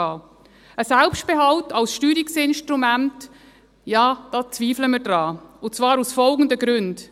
Ein Selbstbehalt als Steuerungsinstrument, ja, dies bezweifeln wir, und zwar aus den folgenden Gründen: